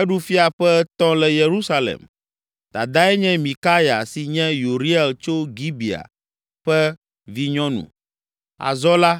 Eɖu fia ƒe etɔ̃ le Yerusalem. Dadae nye Mikaya si nye Uriel tso Gibea ƒe vinyɔnu. Azɔ la,